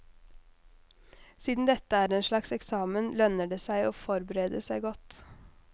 Siden dette er en slags eksamen, lønner det seg å forberede seg godt.